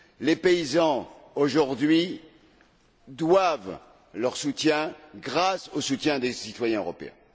Les paysans, aujourd'hui, doivent leur soutien au soutien des citoyens européens.